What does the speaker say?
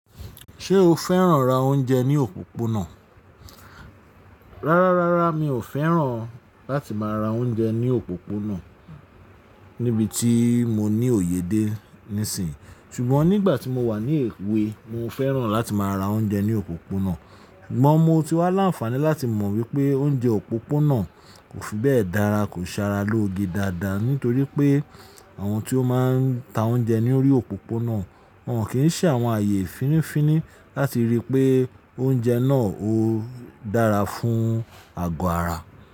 Ṣé o fẹ́ràn ra oúnjẹ ní òpópónà? Rárá, rárá mi ò fẹ́ràn láti má ra oúnjẹ ní òpópónà níbití mo ní òye dé níìsín, ṣùgbọ́n nígbà tí mo wà ní èwe mo fẹ́ràn láti má ra oúnjẹ ní òpópónà. Igba mo ti wá làǹfààní láti mọ̀ wípé oúnjẹ òpópónà kò fi bẹ́ẹ̀ dára, kò ṣe ara lóge dáadáa nítorí pé àwọn tí ó máa ń ta oúnjẹ ní orí òpópónà wọ́n kì í ṣe àwọn ààyè fínifíní láti ríi pé oúnjẹ náà ó dára fún àgọ́ ara.